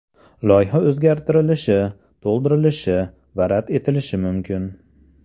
Loyiha o‘zgartirilishi, to‘ldirilishi va rad etilishi mumkin.